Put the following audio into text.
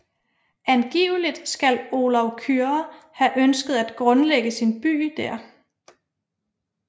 Angiveligt skal Olav Kyrre have ønsket at grundlægge sin by der